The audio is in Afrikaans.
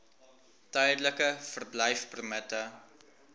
tydelike verblyfpermitte